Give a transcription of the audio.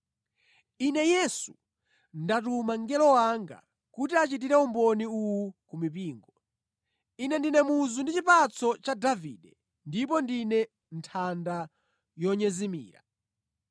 “Ine Yesu, ndatuma mngelo wanga kuti achitire umboni uwu ku mipingo. Ine ndine Muzu ndi Chipatso cha Davide ndipo ndine Nthanda Yonyezimira.”